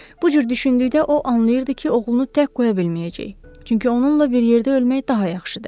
Bu cür düşündükdə o anlayırdı ki, oğlunu tək qoya bilməyəcək, çünki onunla bir yerdə ölmək daha yaxşıdır.